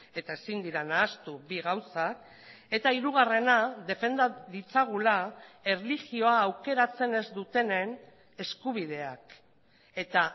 eta ezin dira nahastu bi gauzak eta hirugarrena defenda ditzagula erlijioa aukeratzen ez dutenen eskubideak eta